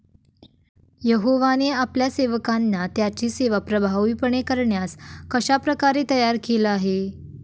यहोवाने आपल्या सेवकांना त्याची सेवा प्रभावीपणे करण्यास कशाप्रकारे तयार केले आहे?